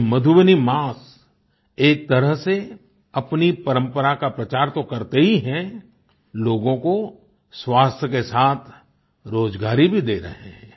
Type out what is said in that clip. ये मधुबनी मास्क एक तरह से अपनी परम्परा का प्रचार तो करते ही हैं लोगों को स्वास्थ्य के साथ रोजगारी भी दे रहे हैं